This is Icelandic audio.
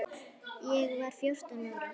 Ég var fjórtán ára.